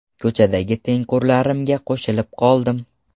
Ko‘chadagi tengqurlarimga qo‘shilib qoldim.